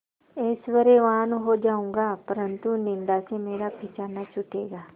ऐश्वर्यवान् हो जाऊँगा परन्तु निन्दा से मेरा पीछा न छूटेगा